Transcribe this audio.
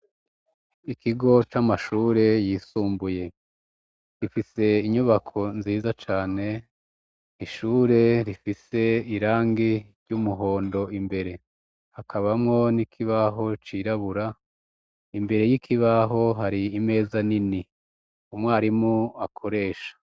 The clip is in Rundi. Ikigo c'amashure yisumbuye. Gifise inyubako nziza cane. Ishure rifise irangi ry'umuhondo imbere. Hakabamwo n'ikibaho cirabura, imbere y'ikibaho hari imeza nini umwarimu akoresha.